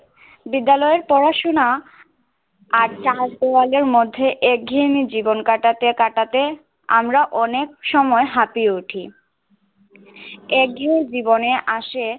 বিদ্যালয়ের পড়া শোনা আর চারদেওয়ারে মধ্যে এক ঘেয়েমি জীবন কাঁটাতে কাঁটাতে আমরা অনেক সময় হাঁপিয়ে উঠি। এক যুগ জীবনে আসে